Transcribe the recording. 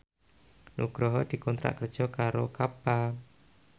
Nugroho dikontrak kerja karo Kappa